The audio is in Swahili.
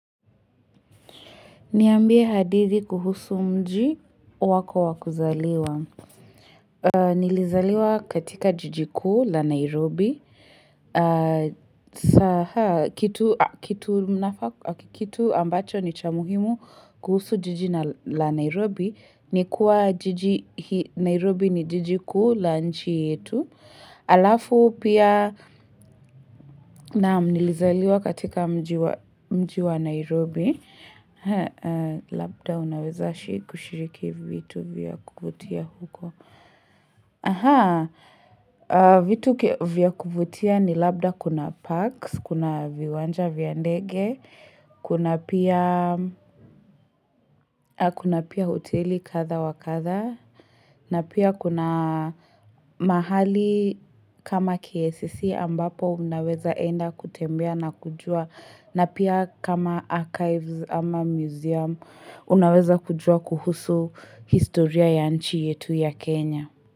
Niambie hadithi kuhusu mji wako wakuzaliwa. Nilizaliwa katika jiji kuu la Nairobi. Kitu ambacho ni cha muhimu kuhusu jiji la Nairobi. Nikuwa Nairobi ni jiji kuu la nchi yetu. Alafu pia nilizaliwa katika mji wa Nairobi. Labda unaweza kushiriki vitu vya kuvutia huko. Aha, vitu vya kuvutia ni labda kuna parks, kuna viwanja vya ndege. Kuna pia, kuna pia hoteli katha wa katha na pia kuna mahali kama KICC ambapo unaweza enda kutembea na kujua na pia kama archives ama museum, unaweza kujua kuhusu historia ya nchi yetu ya Kenya.